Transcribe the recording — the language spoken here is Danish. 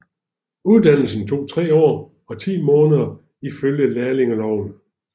Uddannelsen tog 3 år og 10 måneder ifølge lærlingeloven